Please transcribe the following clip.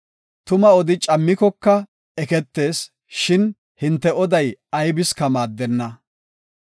Tuma odi cammikoka eketees! shin hinte oday aybiska maaddenna.